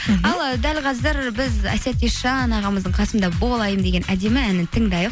ал ы дәл қазір біз әсет есжан ағамыздың қасымда бол айым деген әнін тыңдайық